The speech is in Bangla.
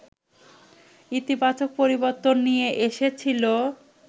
ইতিবাচক পরিবর্তন নিয়ে এসেছিল